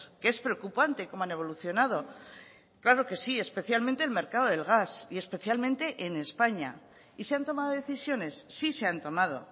que es preocupante cómo han evolucionado claro que sí especialmente el mercado del gas y especialmente en españa y se han tomado decisiones sí se han tomado